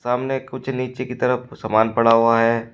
सामने कुछ नीचे की तरफ सामान पड़ा हुआ है।